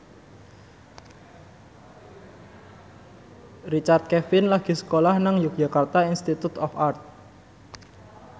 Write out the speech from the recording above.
Richard Kevin lagi sekolah nang Yogyakarta Institute of Art